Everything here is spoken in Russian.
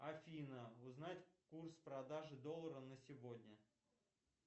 афина узнать курс продажи доллара на сегодня